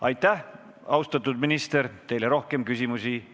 Aitäh, austatud minister!